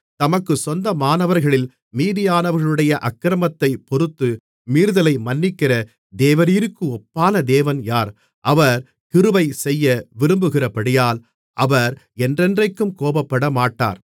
தமக்குச் சொந்தமானவர்களில் மீதியானவர்களுடைய அக்கிரமத்தைப் பொறுத்து மீறுதலை மன்னிக்கிற தேவரீருக்கு ஒப்பான தேவன் யார் அவர் கிருபை செய்ய விரும்புகிறபடியால் அவர் என்றென்றைக்கும் கோபப்படமாட்டார்